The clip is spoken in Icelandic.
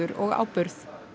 og áburð